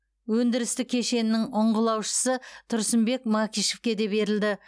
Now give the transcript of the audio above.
өндірістік кешенінің ұңғылаушысы тұрсынбек макишевке де берілді